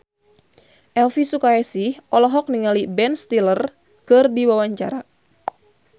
Elvy Sukaesih olohok ningali Ben Stiller keur diwawancara